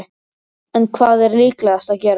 En hvað er líklegast að gerist?